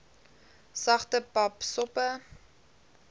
sagte pap soppe